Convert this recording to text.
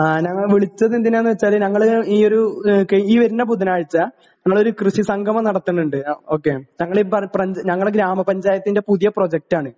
ഞാൻ വിളിച്ചത് എന്തിനാണെന്ന് വച്ചാൽ ഞങ്ങൾ ഈയൊരു കഴിഞ്ഞ ബുധനാഴ്ച നമ്മൾ ഒരു കൃഷി സംഗമം നടത്തലുണ്ട് . ഞങ്ങളെ ഗ്രാമപഞ്ചായത്തിന്റെ പുതിയ പ്രൊജക്റ്റ് ആണ്